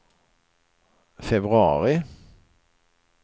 februari